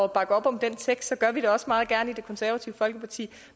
bakke op om den tekst så gør vi det også meget gerne i det konservative folkeparti